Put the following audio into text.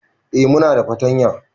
Eh muna da fartanya